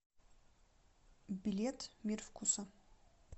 билет мир вкуса